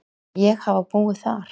Ég hafa búið þar!